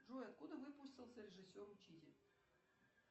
джой откуда выпустился режиссер учитель